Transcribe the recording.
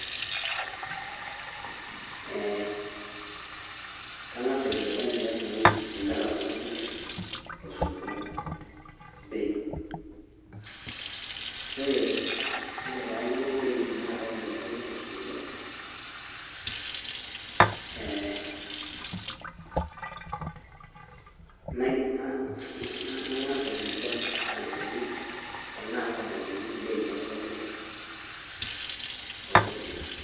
Eeee kangasa aikilikuan ele tungani omirita kulo sinkir bei, ore payiolou bei ololo sinkir tosupuko [break] na na na nangasa aikilikuan tanaa kadungoki bei ololosinkir.